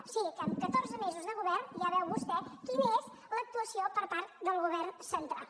o sigui que en catorze mesos de govern ja veu vostè quina és l’actuació per part del govern central